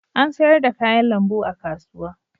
An sayar da kayan lambu a kasuwa.